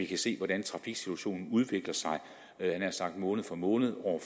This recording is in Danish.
kan se hvordan trafiksituationen udvikler sig måned for måned og